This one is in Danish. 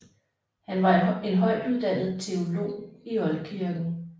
Han var en højtuddannet teolog i oldkirken